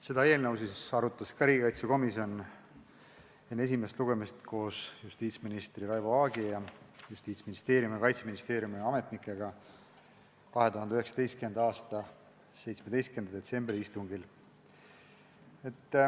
Seda eelnõu arutas riigikaitsekomisjon enne esimest lugemist koos justiitsminister Raivo Aegi ning Justiitsministeeriumi ja Kaitseministeeriumi ametnikega 2019. aasta 17. detsembri istungil.